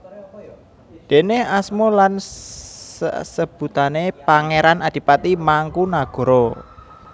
Déne asma lan sasebutané Pangéran Adipati Mangkunagara